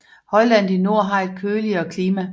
Højlandet i nord har et køligere klima